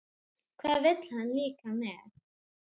Hvað vill hann líka með það?